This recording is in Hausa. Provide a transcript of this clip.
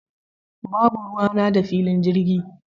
Babu ruwana da filin jirgi.